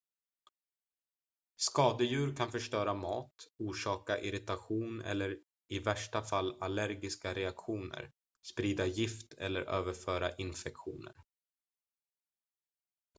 skadedjur kan förstöra mat orsaka irritation eller i värsta fall allergiska reaktioner sprida gift eller överföra infektioner